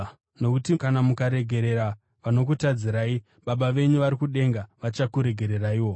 Nokuti kana mukaregerera vanokutadzirai, Baba venyu vari kudenga vachakuregereraiwo.